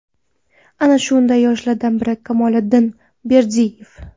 Ana shunday yoshlardan biri Kamoliddin Berdiyev.